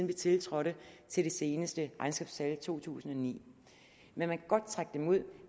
vi tiltrådte og til de seneste regnskabstal fra to tusind og ni man kan godt trække dem ud